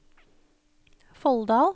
Folldal